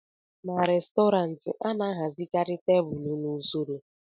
n'Restọrantị, a na-ahazikarị tebụl n'usoro